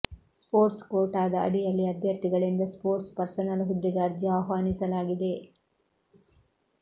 sports ಕೋಟಾದ ಅಡಿಯಲ್ಲಿ ಅಭ್ಯರ್ಥಿಗಳಿಂದ ಸ್ಪೋರ್ಟ್ಸ್ ಪರ್ಸನಲ್ ಹುದ್ದೆಗೆ ಅರ್ಜಿ ಆಹ್ವಾನಿಸಲಾಗಿದೆ